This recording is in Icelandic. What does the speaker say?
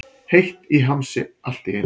Heitt í hamsi allt í einu.